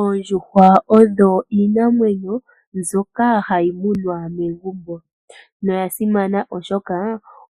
Oondjuhwa odho iinamwenyo mbyoka hayi munwa megumbo. No ya simana oshoka